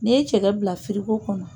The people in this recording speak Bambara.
N'i ye cɛgɛ bila firigo kɔnɔ